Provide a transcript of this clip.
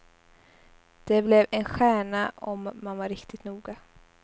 Det blev en stjärna om man var riktigt noga.